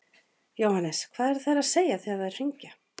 Jóhannes: Hvað eru þær að segja þegar þær hringja?